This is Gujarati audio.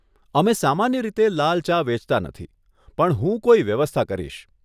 અમે સામાન્ય રીતે લાલ ચા વેચતા નથી, પણ હું કોઈ વ્યવસ્થા કરીશ.